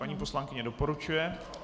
Paní poslankyně doporučuje.